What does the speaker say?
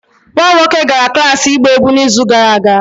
nwa m nwoke gara klas ịgba egwu n'izu gara aga